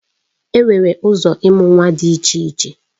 Enwere ụzọ ịmụ nwa dị iche iche